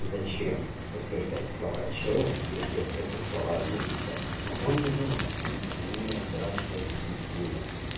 зачем подтверждать слова чела если это слова глупца но он не знает понятно он не разбирался в этой всей теме